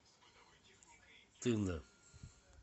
тында